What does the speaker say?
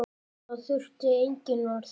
Þá þurfti engin orð.